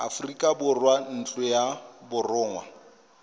aforika borwa ntlo ya borongwa